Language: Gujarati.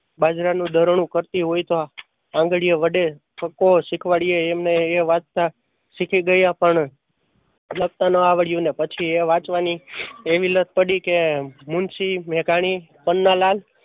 બાજરા નું દરણું કરતી હોય તો આંગળીયો વડે કક્કો શીખવાડ્યો ને વાંચતા શીખી ગયા પણ લખતા નો આવડ્યું અને પછી વાંચવા ની એવી લત પડી કે મુન્શી મેઘાણી, પન્નાલાલ